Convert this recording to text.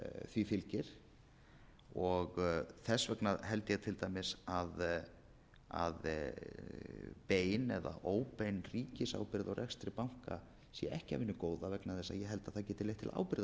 því fylgir þess vegna held ég til dæmis að bein eða óbein ríkisábyrgð á rekstri banka sé ekki af hinu góða vegna þess að ég held að það geti leitt til ábyrgðarleysis ef þeir sem eiga og reka